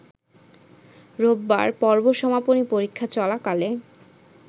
রোববার পর্ব সমাপনী পরীক্ষা চলাকালে